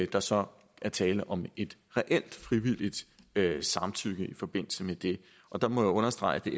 der så er tale om et reelt frivilligt samtykke i forbindelse med det og der må jeg understrege at